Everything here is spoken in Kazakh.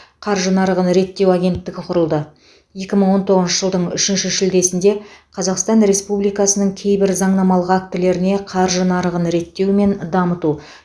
қаржы нарығын реттеу агенттігі құрылды екі мың он тоңызыншы жылдың үшінші шілдесінде қазақстан республикасының кейбір заңнамалық актілеріне қаржы нарығын реттеу мен дамыту